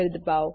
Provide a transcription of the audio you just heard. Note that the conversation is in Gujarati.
દબાઓ